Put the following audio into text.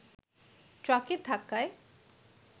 ট্রাকের ধাক্কায়